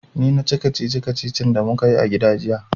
Ni na ci kacici-kacicin da mu ka yi a gida jiya.